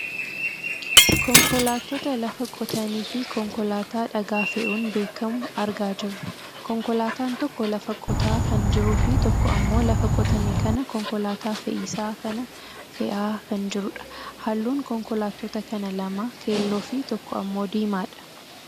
Konkolaattota lafa qotani fi konkolaataa dhagaa fe'uun beekkamu argaa jirra. Konkolaataan tokko lafa qotaa kan jiruufi tokko ammoo lafa qotame kana konkolaataa fe'isaa kana fe'aa kan jirudha. Halluun konkolaattota kana lama keelloofi tokko ammoo diimaadha.